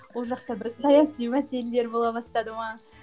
ол жақта бір саяси мәселелер бола бастады ма